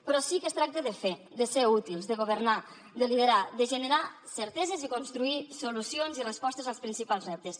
però sí que es tracta de fer de ser útils de governar de liderar de generar certeses i construir solucions i respostes als principals reptes